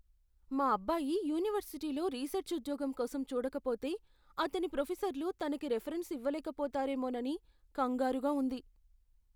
మా అబ్బాయి యూనివర్సిటీలో రీసర్చ్ ఉద్యోగం కోసం చూడకపోతే, అతని ప్రొఫెసర్లు తనికి రిఫరెన్స్ ఇవ్వలేకపోతారేమోనని కంగారుగా ఉంది.